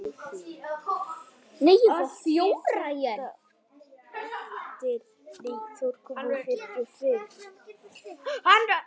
Allt fer þetta eftir smekk.